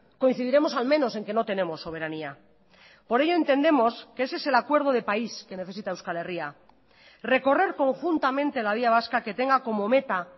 coincidiremos al menos en que no tenemos soberanía por ello entendemos que ese es el acuerdo de país que necesita euskal herria recorrer conjuntamente la vía vasca que tenga como meta